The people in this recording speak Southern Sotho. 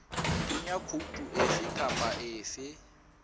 kenya khoutu efe kapa efe